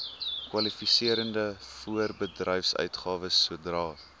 kwalifiserende voorbedryfsuitgawes sodra